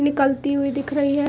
निकलती हुई दिख रही है।